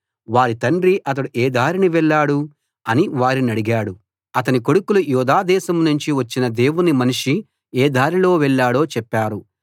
వారి తండ్రి అతడు ఏ దారిన వెళ్ళాడు అని వారినడిగాడు అతని కొడుకులు యూదాదేశాన్నుంచి వచ్చిన దేవుని మనిషి ఏ దారిలో వెళ్ళాడో చెప్పారు